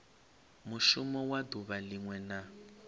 mushumo wa duvha linwe na